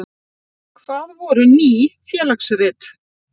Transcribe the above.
Hvað voru Ný félagsrit?